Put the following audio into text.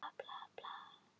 Hann er með kartöflunef.